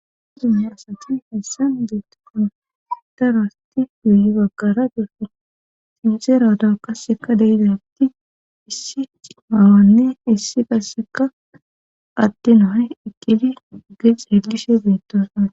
Azume asati hessan geettofana taraasti guyi baggara desse xinxerato kasseka dayizatti issi maawanne issi kasseka atte nohay ikili ge xeelishe beettosana.